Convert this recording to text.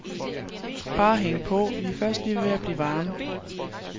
Bare hæng på, vi er først lige ved at blive varme.